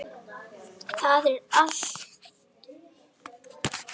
Það er allt of mikið.